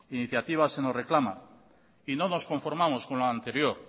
iniciativa se nos reclama y no nos conformamos con la anterior